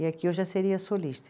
E aqui eu já seria solista.